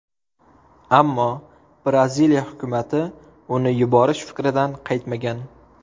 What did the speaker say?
Ammo Braziliya hukumati uni yuborish fikridan qaytmagan.